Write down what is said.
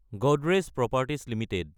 Godrej properties Ltd